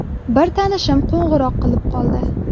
Bir tanishim qo‘ng‘iroq qilib qoldi.